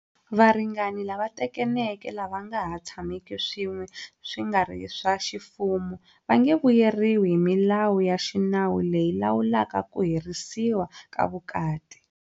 Varingani lava tekaneke lava nga ha tshameki swin'we swi nga ri swa ximfumo va nge vuyeriwi hi milawu ya xinawu leyi lawulaka ku herisiwa ka vukati.